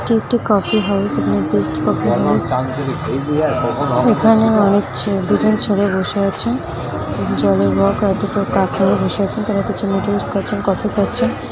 এটি একটি coffee house. এখানের বেস্ট কফি হাউস । এখানে অনেক দুজন ছেলে বসে আছেন। জলের আর দুটো কাপ নিয়ে বসে আছেন। তারা কিছু নুডুলস খাচ্ছেন। কফি খাচ্ছেন।